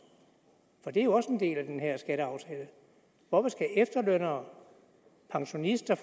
det er jo også en del af den her skatteaftale hvorfor skal efterlønnere pensionister